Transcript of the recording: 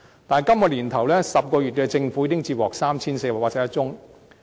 但是，今年首10個月政府已經接獲 3,481 宗個案。